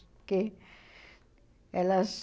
Porque elas...